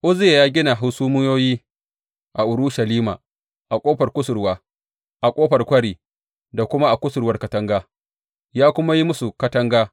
Uzziya ya gina hasumiyoyi a Urushalima a Ƙofar Kusurwa, a Ƙofar Kwari da kuma a kusurwar katanga, ya kuma yi musu katanga.